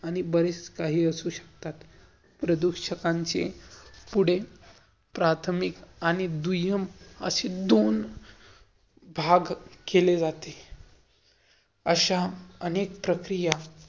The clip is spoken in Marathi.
आणि बरेच काही असू शकतात. प्रदुषकांचे पुढे प्राथमिक आणि दुय्यम असे दोन भाग केले जाते. अशा अनेक प्रक्रिया